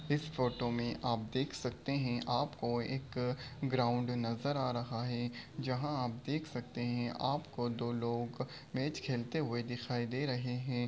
इस फोटो में आप देख सकते हैं आप को एक ग्राउन्ड नजर आ रहा है। जहाँ आप देख सकते हैं आपको दो लोग मैच खेलते हुए नजर आ रहे हैं।